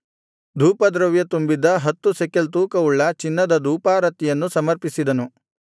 ಧೂಪದ್ರವ್ಯ ತುಂಬಿದ್ದ ಹತ್ತು ಶೆಕೆಲ್ ತೂಕವುಳ್ಳ ಚಿನ್ನದ ಧೂಪಾರತಿಯನ್ನು ಸಮರ್ಪಿಸಿದನು